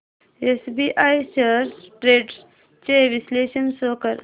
SBI shares trends चे विश्लेषण show कर